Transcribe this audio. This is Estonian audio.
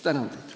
Tänan!